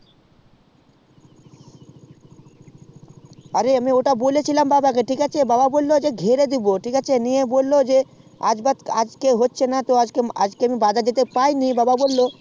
অরে ওটা আমি বলেছিলাম বাবা কে তো আজকে হচ্ছে না আমি বাজার যেতে পাইনি বললো